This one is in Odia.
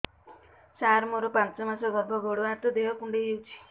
ସାର ମୋର ପାଞ୍ଚ ମାସ ଗର୍ଭ ଗୋଡ ହାତ ଦେହ କୁଣ୍ଡେଇ ହେଉଛି